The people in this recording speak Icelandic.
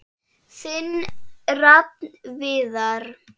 Þinn Rafn Viðar.